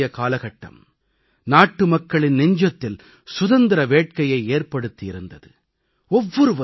இந்த நீண்டநெடிய காலகட்டம் நாட்டுமக்களின் நெஞ்சத்தில் சுதந்திர வேட்கையை ஏற்படுத்தி இருந்தது